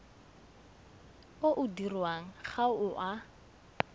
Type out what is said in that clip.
o dirwang ga o a